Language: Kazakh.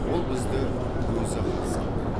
ол бізді өзі қарсы алды